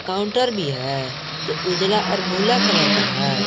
Counter भी है जो उजला और भूरा कलर का हैं।